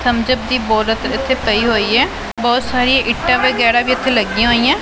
Thumbs Up ਦੀ ਬੋਲਤ ਇੱਥੇ ਪਈ ਹੋਈ ਹੈ ਬਹੁਤ ਸਾਰੀਆਂ ਇੱਟ ਵੇਗੈਰਾ ਵੀ ਇੱੱਥੇ ਲੱਗੀਆਂ ਹੋਈਆਂ।